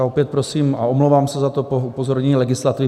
A opět prosím a omlouvám se za to - upozornění legislativy.